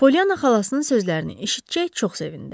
Polyana xalasının sözlərini eşitcək çox sevindi.